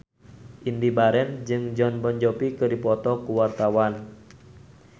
Indy Barens jeung Jon Bon Jovi keur dipoto ku wartawan